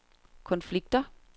konflikter